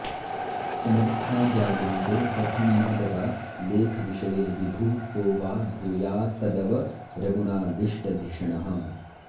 समर्था जायन्ते कथमिह तदा लेखविषये विभुः को वा भूयात्तदवरगुणाविष्टधिषणः